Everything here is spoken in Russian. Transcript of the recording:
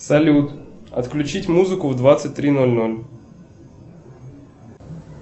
салют отключить музыку в двадцать три ноль ноль